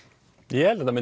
ég held að